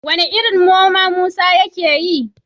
Wane irin noma Musa yake yi?